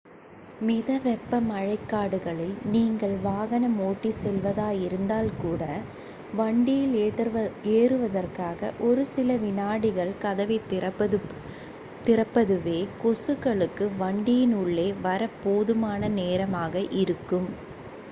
மித வெப்ப மழைக்காடுகளில் நீங்கள் வாகனம் ஓட்டிச் செல்வதாயிருந்தால் கூட வண்டியில் ஏறுவதற்காக ஒரு சில வினாடிகள் கதவைத் திறப்பதுவே கொசுக்களுக்கு வண்டியின் உள்ளே வரப் போதுமான நேரமாக இருக்கும்